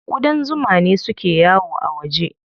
Ƙudan zuma ne suke yawo a waje.